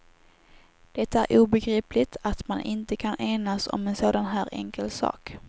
Det är obegripligt att man inte kan enas om en sådan här enkel sak.